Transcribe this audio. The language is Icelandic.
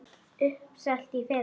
Uppselt í fyrra!